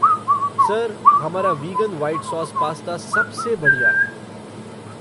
Sir, हमारा vegan white sauce pasta सबसे बढ़िया है।